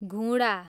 घुँडा